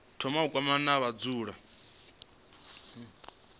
thoma wa kwamana na vhadzulapo